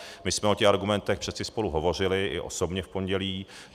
My jsme o těch argumentech přeci spolu hovořili i osobně v pondělí.